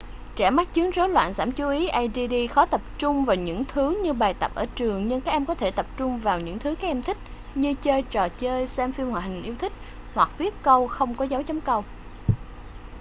trẻ mắc chứng rối loạn giảm chú ý add khó tập trung vào những thứ như bài tập ở trường nhưng các em có thể tập trung vào những thứ các em thích như chơi trò chơi xem phim hoạt hình yêu thích hoặc viết câu không có dấu chấm câu